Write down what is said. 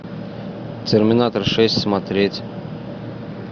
терминатор шесть смотреть